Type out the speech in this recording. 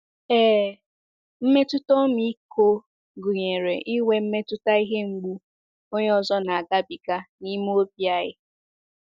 Ee, mmetụta ọmịiko gụnyere inwe mmetụta ihe mgbu onye ọzọ na - agabiga n'ime obi anyi.